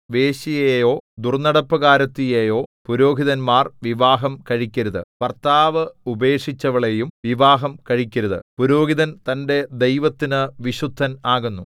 വേശ്യയെയോ ദുർന്നടപ്പുകാരത്തിയെയോ പുരോഹിതന്മാർ വിവാഹം കഴിക്കരുത് ഭർത്താവ് ഉപേക്ഷിച്ചവളെയും വിവാഹം കഴിക്കരുത് പുരോഹിതൻ തന്റെ ദൈവത്തിനു വിശുദ്ധൻ ആകുന്നു